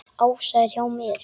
Ása er hjá þeim.